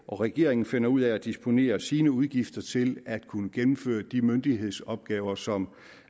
og regeringen finder ud af at disponere sine udgifter til at kunne gennemføre de myndighedsopgaver som